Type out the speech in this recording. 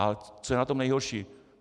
A co je na tom nejhorší.